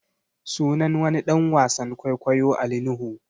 Sunan wani ɗan wasan kwaikwayo Ali Nuhu